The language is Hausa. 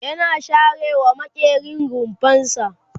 yana share wa maƙerin rumfarsa